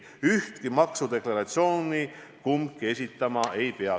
Ühtki maksudeklaratsiooni kumbki esitama ei pea.